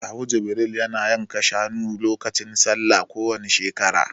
Kawu Jibril ya na yanka shanu lokacin Sallah kowani shekara